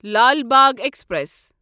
Lal Bagh express